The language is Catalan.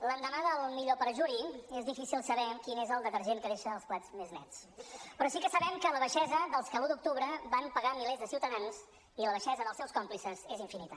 l’endemà del millor perjuri és difícil saber quin és el detergent que deixa els plats més nets però sí que sabem que la baixesa dels que l’un d’octubre van pegar milers de ciutadans i la baixesa dels seus còmplices és infinita